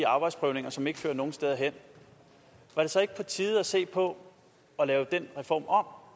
arbejdsprøvninger som ikke fører nogen steder hen var det så ikke på tide at se på at lave den reform om